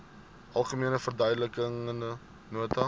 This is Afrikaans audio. algemene verduidelikende nota